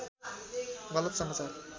गलत समाचार